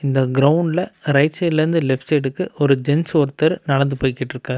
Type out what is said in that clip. இந்த கிரவுண்ட்ல ரைட் சைடுல இருந்து லெப்ட் சைடுக்கு ஒரு ஜென்ட்ஸ் ஒருத்தர் நடந்து போயிட்டிருக்காரு.